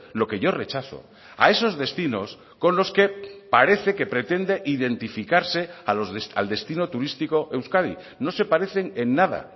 lo que yo rechazo a esos destinos con los que parece que pretende identificarse al destino turístico euskadi no se parecen en nada